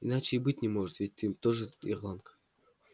иначе и быть не может ведь ты тоже ирландка